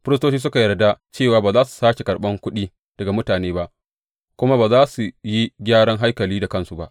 Firistoci suka yarda cewa ba za su sāke karɓan kuɗi daga mutane ba, kuma ba za su yi gyaran haikalin da kansu ba.